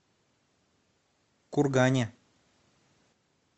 кургане